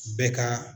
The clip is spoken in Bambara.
Bɛɛ ka